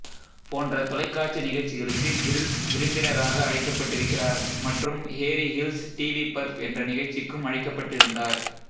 போன்ற தொலைக்காட்சி நிகழ்ச்சிகளுக்கு கிரில்ஸ் விருந்தினராக அழைக்கப்பட்டிருக்கிறார் மற்றும் ஹேரி ஹில்ஸ் டிவி பர்ப் என்ற நிகழ்ச்சிக்கும் அழைக்கப்பட்டிருந்தார்